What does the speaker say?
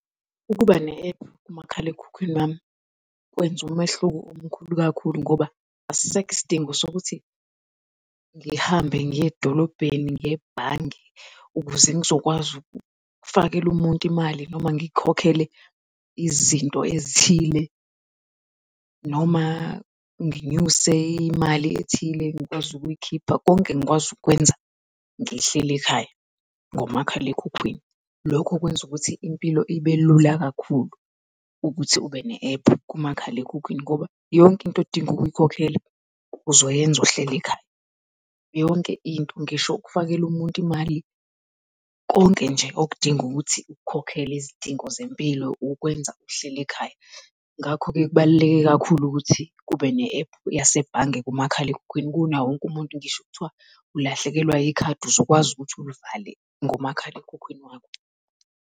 Ukuba ne-app kumakhalekhukhwini wami kwenze umehluko omkhulu kakhulu ngoba asisekho isidingo sokuthi ngihambe ngiye edolobheni ngiye ebhange ukuze ngizokwazi ukufakela umuntu imali noma ngikhokhele izinto ezithile noma nginyuse imali ethile ngikwazi ukuyikhipha. Konke ngikwazi ukukwenza ngihleli ekhaya ngomakhalekhukhwini. Lokhu okwenza ukuthi impilo ibe lula kakhulu ukuthi ube ne-app kumakhalekhukhwini ngoba yonke into odinga ukuyikhokhela uzoyenza uhleli ekhaya. Yonke into, ngisho ukufakela umuntu imali konke nje okudinga ukuthi ukukhokhele zidingo zempilo ukwenza uhleli ekhaya. Ngakho-ke, kubaluleke kakhulu ukuthi kube ne-app yasebhange kumakhalekhukhwini kunawo wonke umuntu, ngisho kuthiwa ulahlekelwa ikhadi, uzokwazi ukuthi ulivale ngomakhalekhukhwini wakho.